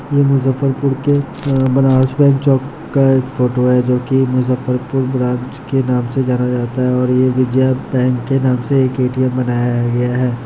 ये मुजफ्फरपुर के अ बनारस बैंक चौक का एक फोटो है जो कि मुजफ्फरपुर ब्रांच के नाम से जाना जाता है और ये विजया बैंक के नाम से एक ए.टी.एम. बनाया गया है।